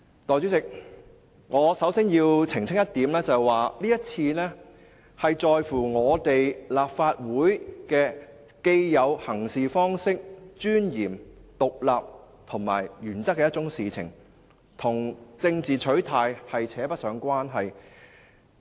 代理主席，我首先要澄清一點，這次是一件關乎立法會的既有行事方式、尊嚴、獨立及原則的事情，與政治取態扯不上關係。